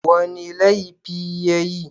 Wani laifi ya yi?